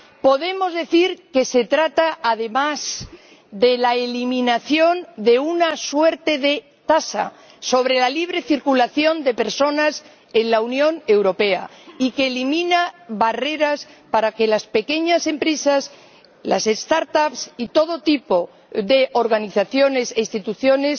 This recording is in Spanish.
Podemos decir que se trata, además, de la eliminación de una suerte de tasa sobre la libre circulación de personas en la Unión Europea, y que se eliminan barreras para que las pequeñas empresas, las start ups y todo tipo de organizaciones e instituciones